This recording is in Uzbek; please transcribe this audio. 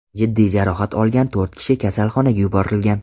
Jiddiy jarohat olgan to‘rt kishi kasalxonaga yuborilgan.